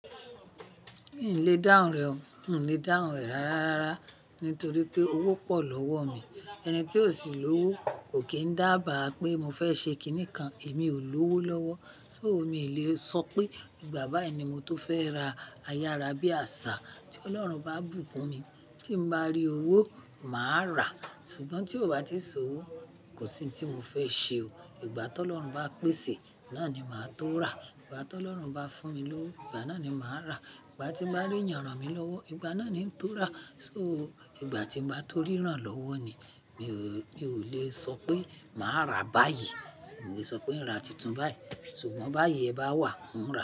N le dáhùn rẹ o, n le dáhùn rẹ rárá rárá torí pé owó pọ̀ lọ́wọ́ mi. Ẹni tí ò sí lówó kò kí n dábàá pé mo fẹ́ ṣe kiní kan. Èmi ò lówó lọ́wọ́, so mi ì le sọ pé nígbà báyìí ni mo tó fẹ́ ra ayára bí àsá. Tí Ọlọ́run bá bùkúnni, tí n bá rí owó, màá rà á. Sugbon tí ò bá ti sí owó, kò sí hun tí mo fẹ́ ṣe o. Ìgbà tí Ọlọ́run bá pèsè, náà ni màá tó rà. Ìgbà tí Ọlọ́run bá fún mi lówó, ìgbà náà ni màá rà. Ìgbà tí n bá rí ìyanràn mi lọ́wọ́, ìgbà náà ni n tó rà. So, ìgbà tí n bá tó ríran lọ́wọ́ ni. Mi ò le sọ pé màá rà báyìí. Mi le sọ pé n rà tuntun báyìí. Sugbon báyìí ẹ bá wà, n rà.